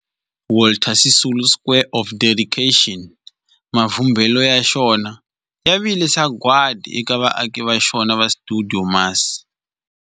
Walter Sisulu Square of Dedication, mavumbelo ya xona ya vile sagwadi eka vaaki va xona va stuidio MAS.